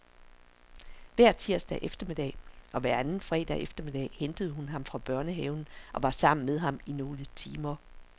Hver tirsdag eftermiddag og hver anden fredag eftermiddag hentede hun ham fra børnehave og var sammen med ham i nogle timer.